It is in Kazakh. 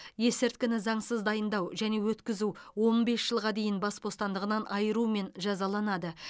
есірткіні заңсыз дайындау және өткізу он бес жылға дейін бас бостандығынан айырумен жазаланады